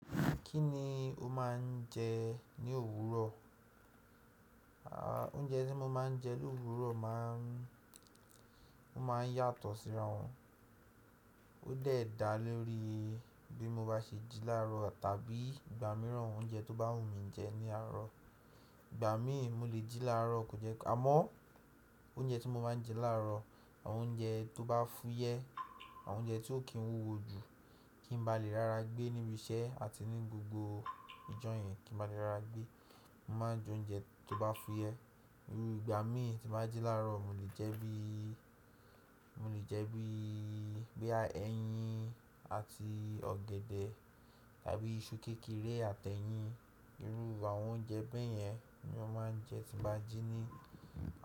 Kí ni o máa ń jẹ ní òwúrọ̀? Aà, oúnjẹ tí mo máa ń jẹ l’òwúrọ̀ má ń, ó máa ń yàtọ̀ síra wọn. Ó de dà lórí bí mo bá ṣe jí láàrọ̀ tàbí ìgbà mìíràn oúnjẹ tó bá wù mí jẹ ní àárọ̀. Ìgbà mí ì mo lè jí láàrọ̀ kò jẹ́ ká mọ́ oúnjẹ tí mo máa ń jẹ láàrọ̀, àwọn oúnjẹ tó bá fúyẹ́, àwọn oúnjẹ tí ó kì ń wúwo ju, kí n ba lè rára gbé níbi iṣẹ́ àti ní gbogbo ìjọ̀yẹn kí n ba lè rára gbé. Mo máa ń jẹ oúnjẹ tó bá fúyẹ́. Irú ìgbà mí tí bá jí láàrọ̀ mo lè jẹ bí, mo lè jẹ bí, bóyá ẹyin àti ọ̀gẹ̀dẹ̀ tàbí iṣu kékeré àtẹ́yìn. Irú àwọn oúnjẹ bẹ́ẹ̀ yẹn ni mo máa ń jẹ tí bá jí ní.